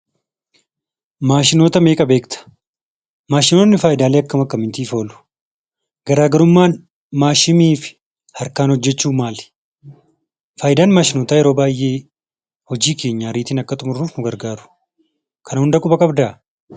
Maashinoota meeqa beekta? Maashinoonni faayidaalee akkam akkamiif oolu? Garaagarummaan maashinii fi harkaan hojjechuu maal? Faayidaan maashinootaa yeroo baayyee hojii keenya idilee dafnee akka xumurruuf nu gargaaru. Kana hunda quba qabdaa?